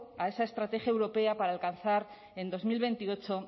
a esa estrategia europea para alcanzar en dos mil veintiocho